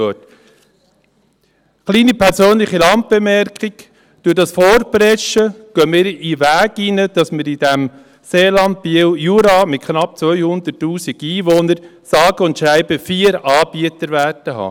Eine kleine persönliche Randbemerkung: Durch dieses Vorpreschen beschreiten wir den Weg, dass wir in diesem Biel-Seeland-Jura mit knapp 200’000 Einwohnern sage und schreibe vier Anbieter haben werden.